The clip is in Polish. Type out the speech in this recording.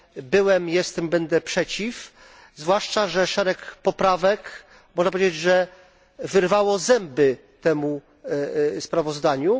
Byłem, jestem i będę przeciw, zwłaszcza że szereg poprawek można powiedzieć wyrwało zęby temu sprawozdaniu.